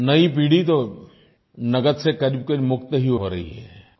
नई पीढ़ी तो नकद से करीबकरीब मुक्त ही हो रही है